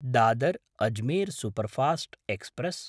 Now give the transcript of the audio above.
Dadar-Ajmer superfast express